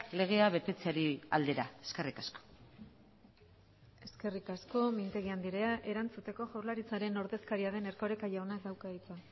legea betetzeari aldera eskerrik asko eskerrik asko mintegi andrea erantzuteko jaurlaritzaren ordezkaria den erkoreka jaunak dauka hitza